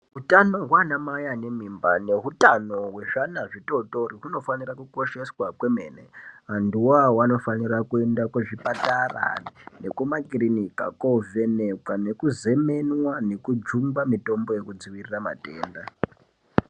Utano hwana mai ane mimba nehutano hwezvana zvitori tori hunofanire kukosheswa kwemene. Vantu iwawo vanofanira kuenda kuzvipatara nemakirinika kovhenekwa nekuzemenwa nekujungwa mitombo inodziwirire matenda.